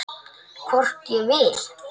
Hvort ég vil!